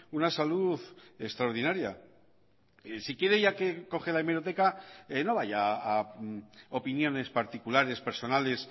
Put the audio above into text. una salud extraordinaria si quiere ya que coge la hemeroteca no vaya a opiniones particulares personales